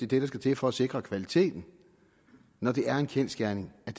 det der skal til for at sikre kvaliteten når det er en kendsgerning at